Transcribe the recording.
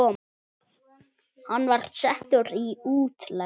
Hann var settur í útlegð.